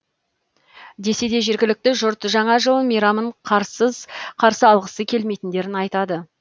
десе де жергілікті жұрт жаңа жыл мейрамын қарсыз қарсы алғысы келмейтіндерін айтады